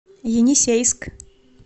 енисейск